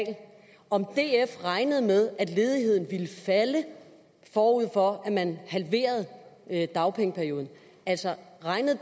om df regnede med at ledigheden ville falde forud for at man halverede dagpengeperioden altså regnede